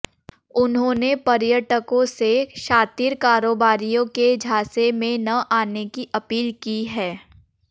उन्होंने पर्यटकों से शातिर कारोबारियों के झांसे में न आने की अपील की है